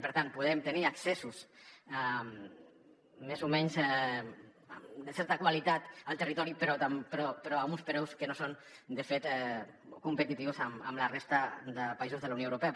per tant podem tenir accessos més o menys de certa qualitat al territori però amb uns preus que no són de fet competitius amb la resta de països de la unió europea